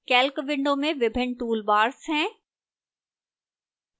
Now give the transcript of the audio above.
calc window में विभिन्न toolbars हैं